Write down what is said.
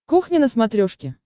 кухня на смотрешке